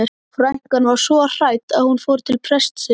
Frænkan var svo hrædd að hún fór til prestsins.